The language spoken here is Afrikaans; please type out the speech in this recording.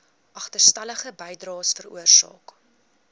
agterstallige bydraes veroorsaak